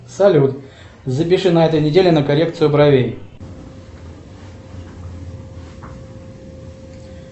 салют запиши на этой неделе на коррекцию бровей